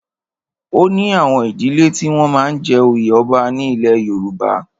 O ní àwọn ìdílẹ́ tí wọ́n máa ń jẹ oyè ọba ní ilẹ̀ Yorùbá.